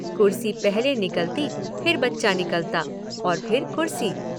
कुर्सी पहले निकलती फिर बच्चा निकलता और फिर कुर्सी।